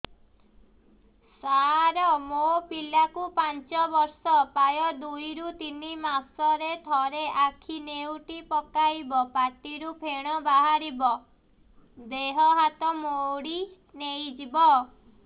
ସାର ମୋ ପିଲା କୁ ପାଞ୍ଚ ବର୍ଷ ପ୍ରାୟ ଦୁଇରୁ ତିନି ମାସ ରେ ଥରେ ଆଖି ନେଉଟି ପକାଇବ ପାଟିରୁ ଫେଣ ବାହାରିବ ଦେହ ହାତ ମୋଡି ନେଇଯିବ